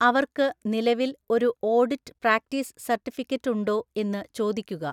അവർക്ക് നിലവിൽ ഒരു ഓഡിറ്റ് പ്രാക്ടീസ് സർട്ടിഫിക്കറ്റ് ഉണ്ടോ എന്ന് ചോദിക്കുക.